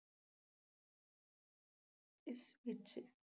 ਇਸ ਵਿੱਚ